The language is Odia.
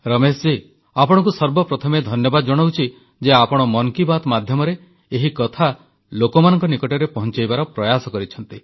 ରମେଶ ଜୀ ଆପଣଙ୍କୁ ସର୍ବପ୍ରଥମେ ଧନ୍ୟବାଦ ଜଣାଉଛି ଯେ ଆପଣ ମନ୍ କି ବାତ୍ ମାଧ୍ୟମରେ ଏହି କଥା ଲୋକମାନଙ୍କ ନିକଟରେ ପହଂଚାଇବାର ପ୍ରୟାସ କରିଛନ୍ତି